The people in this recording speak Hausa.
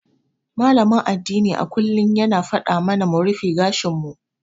Malamin addini a kullum yana faɗa mana mu rufe gashin mu.